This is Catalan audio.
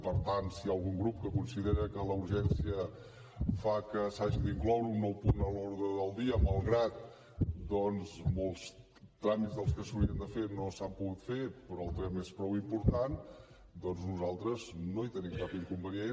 per tant si hi ha algun grup que considera que la urgència fa que s’hagi d’incloure un nou punt a l’ordre del dia malgrat que molts tràmits dels que s’haurien de fer no s’han pogut fer però el tema és prou important doncs nosaltres no hi tenim cap inconvenient